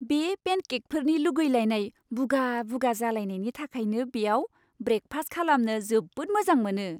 बे पेनकेकफोरनि लुगैलायनाय बुगा बुगा जालायनायनि थाखायनो बेयाव ब्रेकफास्ट खालामनो जोबोद मोजां मोनो।